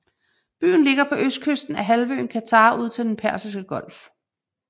Byen ligger på østkysten af halvøen Qatar ud til Den Persiske Golf